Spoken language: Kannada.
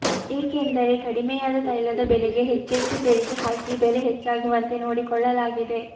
ಏಕೆಂದರೆ ಕಡಿಮೆಯಾದ ತೈಲದ ಬೆಲೆಗೆ ಹೆಚ್ಚೆಚ್ಚು ತೆರಿಗೆ ಹಾಕಿ ಬೆಲೆ ಹೆಚ್ಚಾಗುವಂತೆ ನೋಡಿಕೊಳ್ಳಲಾಗಿದೆ